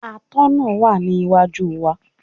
Atọ́nà náà wà ní iwájú wa.